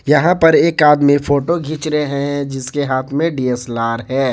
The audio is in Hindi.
यहां पर एक आदमी फोटो खींच रहे हैं जिसके हाथ में डी_एस_एल_आर है।